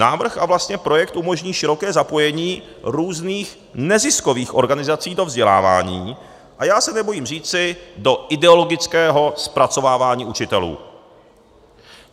Návrh a vlastně projekt umožní široké zapojení různých neziskových organizací do vzdělávání, a já se nebojím říci, do ideologického zpracovávání učitelů.